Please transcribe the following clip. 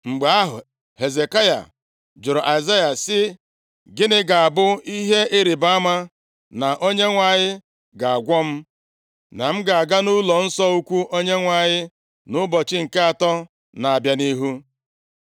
Mgbe ahụ, Hezekaya jụrụ Aịzaya sị, “Gịnị ga-abụ ihe ịrịbama na Onyenwe anyị ga-agwọ m, na m ga-aga nʼụlọnsọ ukwu Onyenwe anyị nʼụbọchị nke atọ na-abịa nʼihu?”